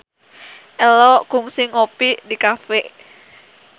Ello kungsi ngopi di cafe